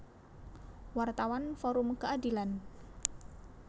Wartawan Forum Keadilan